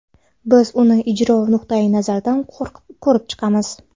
Biz uni ijro nuqtayi nazaridan ko‘rib chiqamiz.